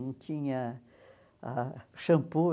Não tinha ah shampoo.